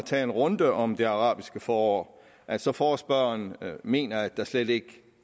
tage en runde om det arabiske forår altså forespørgeren mener at der slet ikke